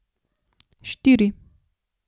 Štiri.